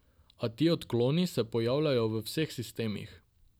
A ti odkloni se pojavljajo v vseh sistemih.